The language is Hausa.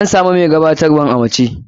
An samu mai gabatarwan a mace.